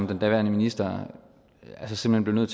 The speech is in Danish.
den daværende minister simpelt